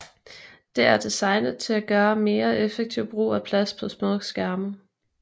Det er designet til at gøre mere effektiv brug af plads på små skærme